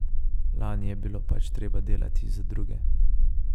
Lani je bilo pač treba delati za druge.